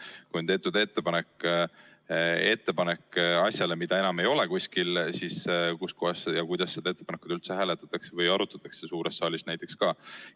Kui on tehtud ettepanek asjaks, mida enam ei ole kuskil, siis kuidas seda ettepanekut hääletatakse või ka suures saalis arutatakse?